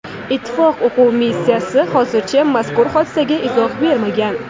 Ittifoq o‘quv missiyasi hozircha mazkur hodisaga izoh bermagan.